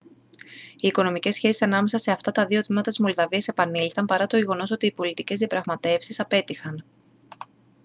οι οικονομικές σχέσεις ανάμεσα σε αυτά τα δύο τμήματα της μολδαβίας επανήλθαν παρά το γεγονός ότι οι πολιτικές διαπραγματεύσεις απέτυχαν